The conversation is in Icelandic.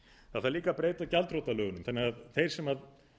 það þarf líka að breyta gjaldþrotalögunum þannig að þeir sem